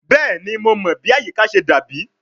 Bẹẹni Mo mọ bi ayika ṣe dabi